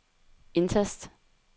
indtast